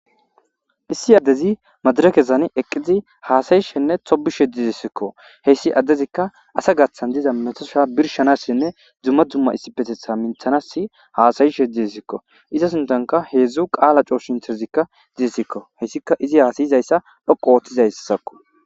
issi addezi madarakesani eqqizi haasayi shenne tobi shedizessikko heyssi addezikka asa gathan diza metosha birshanassinne dzumma dzumma issipetetha minthanas haasayi shediessikko iza suntanka heedzdzu qaala cooshintezikka didesikko heyssika izi haasayizayssa lhoqo ooththizaysakko